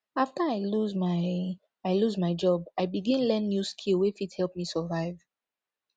after i lose my i lose my job i begin learn new skill wey fit help me survive